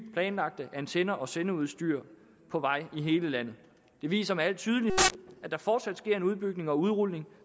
planlagte antenner og sendeudstyr på vej i hele landet det viser med al tydelighed at der fortsat sker en udbygning og udrulning